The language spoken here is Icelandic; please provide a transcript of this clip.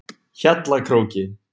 Hjallakróki